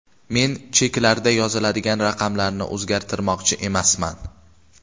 Men cheklarda yoziladigan raqamlarni o‘zgartirmoqchi emasman.